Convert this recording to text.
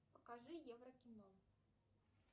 покажи евро кино